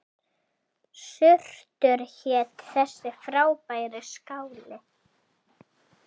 Surtur hét þessi frábæri skáli.